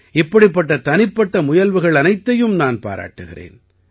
இப்படிப்பட்ட தனிப்பட்ட முயல்வுகள் அனைத்தையும் நான் பாராட்டுகிறேன்